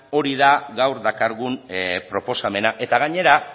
hori da gaur dakargun proposamena eta gainera